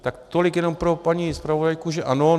Tak tolik jenom pro paní zpravodajku, že ano.